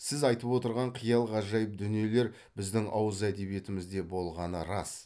сіз айтып отырған қиял ғажайып дүниелер біздің ауыз әдебиетімізде болғаны рас